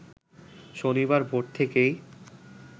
শনিবার ভোর থেকেই